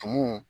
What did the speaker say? Tumu